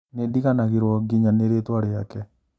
Nĩndiganĩirwo nginya nĩ rĩtwa rĩake